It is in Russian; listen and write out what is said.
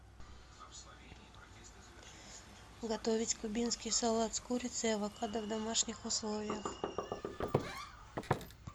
готовить кубинский салат с курицей и авокадо в домашних условиях